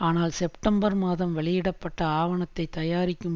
ஆனால் செப்டம்பர் மாதம் வெளியிட பட்ட ஆவணத்தைத் தயாரிக்கும்